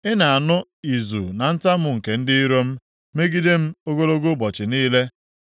Ị na-anụ izu na ntamu nke ndị iro m megide m ogologo ụbọchị niile.